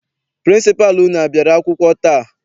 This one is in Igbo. Pịrịnsịpalụ unu a bịara akwụkwọ taa?